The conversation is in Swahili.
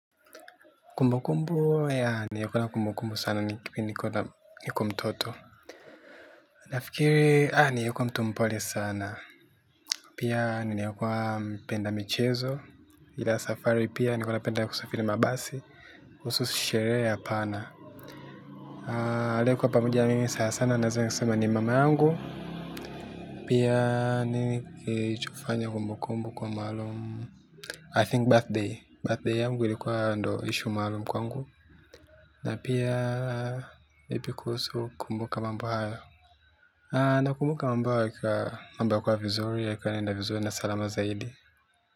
Kumbukumbu ya, nimekuwa na kumbukumbu sana nikiwa niko mtoto. Nafikiri, nilikuwa mtu mpole sana. Pia nilikuwa mpenda michezo. Ila safari pia nilikuwa napenda kusafiri mabasi. Kuhusu sherehe hapana, aliyekuwa pamoja na mimi sanasana naweza sema ni mama yangu. Pia mimi hupenda kufanya kumbukumbu kwa maalum I think birthday, birthday yangu ilikuwa ndiyo ishu maalumu kwangu. Na pia ipi kuhusu kumbuka mambo haya. Na kumbuka mambo haya yakiwa mambo kuwa vizuri yaka enda vizuri na salama zaidi.